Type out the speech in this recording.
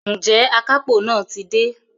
Ǹjẹ́ àkápò ti dé?